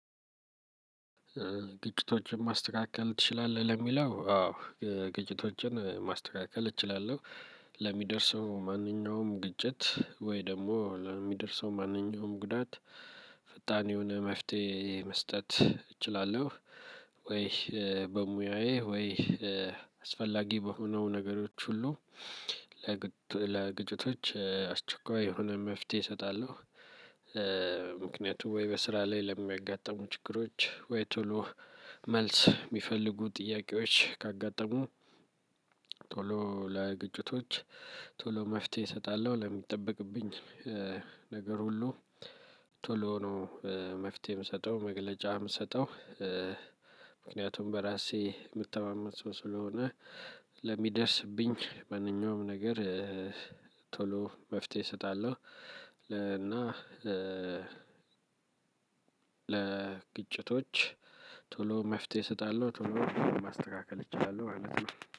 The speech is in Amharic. ግጭቶችን ማስተካከል ትችላለህ ለሚለው አዎ ግጭቶችን ማስተካከል እችላለሁ። ለሚደርሰው ማንኛውም ግጭት ወይ ደግሞ ለሚደርሰው ማንኛውም ጉዳት ፈጣን የሆነ መፍትሄ መስጠት እችላለሁ። ወይ በሙያዬ ወይ አስፈላጊ በሆነው ነገሮች ሁሉ። ለግጭቶች አስቸኳይ የሆነ መፍትሄ እሰጣለሁ። ምክንያቱም ወይ በስራ ላይ ለሚያጋጥሙ ችግሮች ወይ ቶሎ መልስ የሚፈልጉ ጥያቄዎች ካጋጠሙ። ቶሎ ለግጭቶች ቶሎ መፍትሄ እሰጣለሁ። ለሚጠበቅብኝ ነገር ሁሉ ቶሎ ነው መፍትሄ የምሰጠው መግለጫ የምሰጠው። ምክንያቱም በራሴ ምተማመን ሰው ስለሆነ። ለሚደርስብኝ ማንኛውም ነገር። ቶሎ መፍትሄ ሰጣለሁ። እና ለግጭቶች ቶሎ መፍትሄ እሰጣለሁ ቶሎ ማስተካከል እችላለሁ ማለት ነው